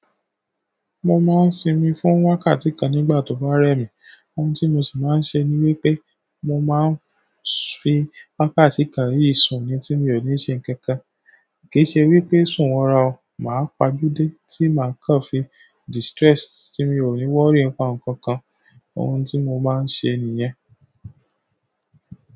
Mo máa ń sinmi fún wákàtí kan nígbà tó bá rẹ mi. Ohun tí mo sì máa ń ṣe ni wípé mo máa ń fi wákàtí kan yìí sùn ni tí mi ò ní ṣe nǹkan kan. Kì í ṣe wípé sùn wọra o, màá pajú dé tí màá kàn fi distress tí mi ò ní worry nípa nǹkan kan. Ohun tí mo máa ń ṣe nìyẹn.